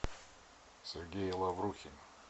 сергей лаврухин